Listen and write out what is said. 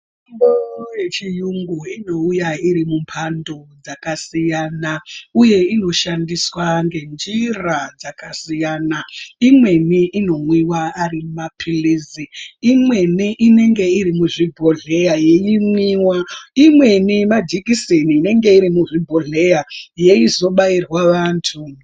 Mitombo yechiyungu inouya iri mumphando dzakasiyana, uye inoshandiswa ngenjira dzakasiyana. Imweni inomwiwa ari maphilizi, imweni inenge iri muzvibhodhleya yeimwiwa. Imweni majikiseni inenge iri muzvibhodhleya, yeizobairwa vantu.